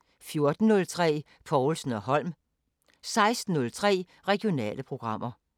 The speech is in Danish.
14:03: Povlsen & Holm 16:03: Regionale programmer